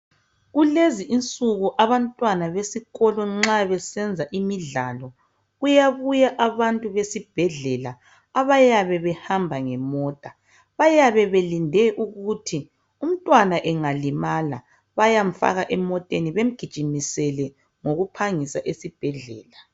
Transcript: Kulezi insuku abantwana besikolo nxa besenza imidlalo kuyabuya abantu besibhedlela abayabe behamba ngemota .Bayabe belinde ukuthi umntwana engalimala ,bayamfaka emoteni bemgijimisele ngokuphangisa esibhedlela.